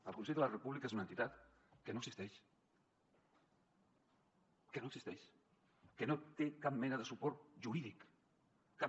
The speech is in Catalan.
el consell per la república és una entitat que no existeix que no té cap mena de suport jurídic cap